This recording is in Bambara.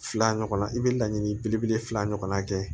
Fila ɲɔgɔnna i bɛ laɲini belebele fila ɲɔgɔnna kɛ